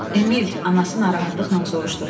Emil, anası narahatlıqla soruşdu.